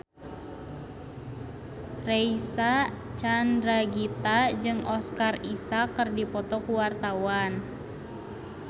Reysa Chandragitta jeung Oscar Isaac keur dipoto ku wartawan